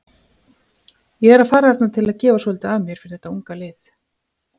Ég er að fara þarna til að gefa svolítið af mér fyrir þetta unga lið.